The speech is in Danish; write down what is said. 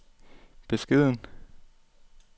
beskeden